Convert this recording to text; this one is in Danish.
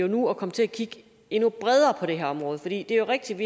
nu at komme til at kigge endnu bredere på det her område for det er rigtigt